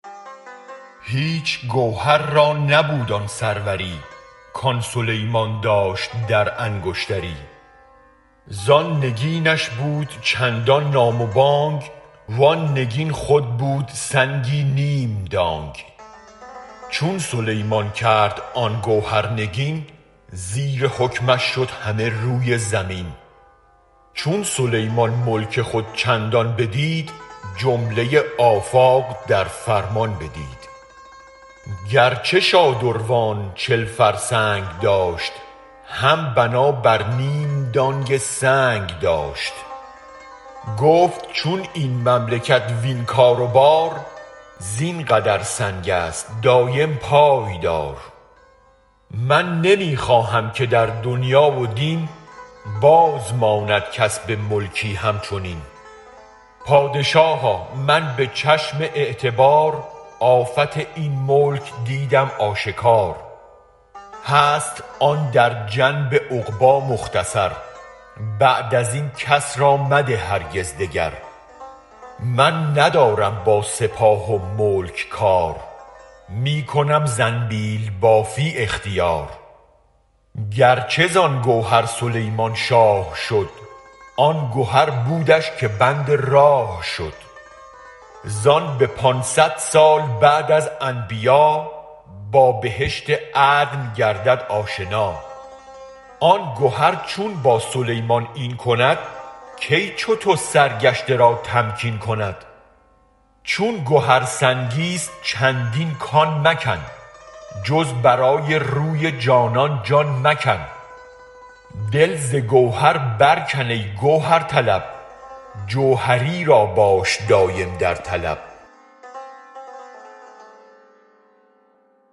هیچ گوهر را نبود آن سروری کآن سلیمان داشت در انگشتری زآن نگینش بود چندان نام و بانگ و آن نگین خود بود سنگی نیم دانگ چون سلیمان کرد آن گوهر نگین زیر حکمش شد همه روی زمین چون سلیمان ملک خود چندان بدید جمله آفاق در فرمان بدید گر چه شادروان چل فرسنگ داشت هم بنا بر نیم دانگ سنگ داشت گفت چون این مملکت وین کار و بار زین قدر سنگ است دایم پایدار من نمی خواهم که در دنیا و دین باز ماند کس به ملکی هم چنین پادشاها من به چشم اعتبار آفت این ملک دیدم آشکار هست آن در جنب عقبی مختصر بعد از این کس را مده هرگز دگر من ندارم با سپاه و ملک کار می کنم زنبیل بافی اختیار گر چه زآن گوهر سلیمان شاه شد آن گهر بودش که بند راه شد زآن به پانصد سال بعد از انبیا با بهشت عدن گردد آشنا آن گهر چون با سلیمان این کند کی چو تو سرگشته را تمکین کند چون گهر سنگی ست چندین کان مکن جز برای روی جانان جان مکن دل ز گوهر برکن ای گوهرطلب جوهری را باش دایم در طلب